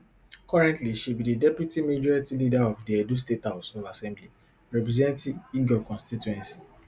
currently she be di deputy majority leader of di edo state house of assembly representing egor constituency